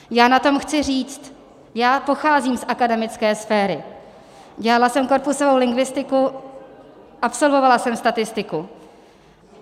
Já na tom chci říct, já pocházím z akademické sféry, dělala jsem korpusovou lingvistiku, absolvovala jsem statistiku.